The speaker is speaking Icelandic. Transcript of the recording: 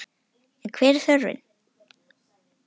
En hver er þörfin?